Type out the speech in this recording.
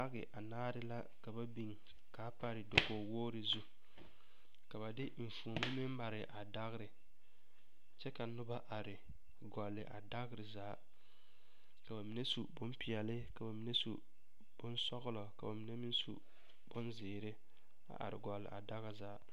Dage anaare la ka ba biŋ k,a pare dakogiwogri zu ka ba de enfuomo meŋ mare a dagre kyɛ ka noba are gɔlle a dagre zaa ka ba mine su bompeɛle ka ba mine su bonsɔglɔ ka ba mine meŋ su bonzeere a are gɔle a dagre zaa.